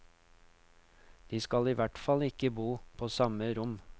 De skal i hvert fall ikke bo på samme rom.